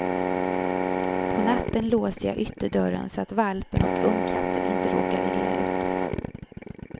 På natten låser jag ytterdörren så att valpen och ungkatten inte råkar illa ut.